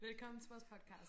Velkommen til vores podcast